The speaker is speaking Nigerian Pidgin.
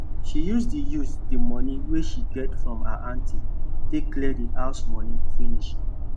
she use the use the money wey she get from her aunty take clear the house money finish